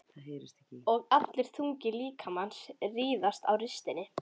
Og allur þungi líkamans riðaði á ristinni.